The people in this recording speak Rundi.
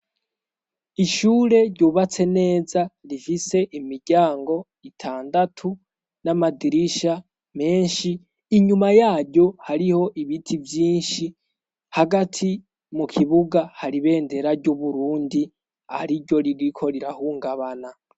Ishure ryubatse neza rifise imiryango itandatu n'amadirisha menshi, inyuma yaryo hariho ibiti vyinshi, hagati mu kibuga hari ibendera ry'Uburundi ariryo ririko rirahungabana.